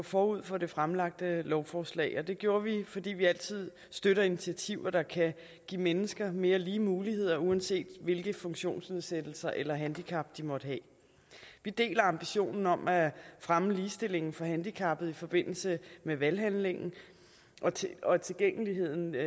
forud for det fremlagte lovforslag og det gjorde vi fordi vi altid støtter initiativer der kan give mennesker mere lige muligheder uanset hvilke funktionsnedsættelser eller handicap de måtte have vi deler ambitionen om at fremme ligestillingen for handicappede i forbindelse med valghandlingen og tilgængeligheden til